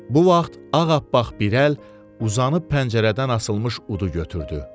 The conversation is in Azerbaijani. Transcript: Bu vaxt ağappaq bir əl uzanıb pəncərədən asılmış udu götürdü.